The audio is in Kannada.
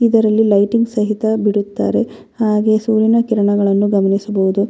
ಇದರಲ್ಲಿ ಲೈಟಿಂಗ್ ಸಹಿತ ಬಿಡುತ್ತಾರೆ ಹಾಗೆ ಸೂರ್ಯನ ಕಿರಣಗಳನ್ನು ಗಮನಿಸಬಹುದು.